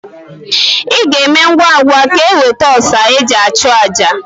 Ị ga-eme ngwa ngwa ka iweta ọsa e ji achụ àjà.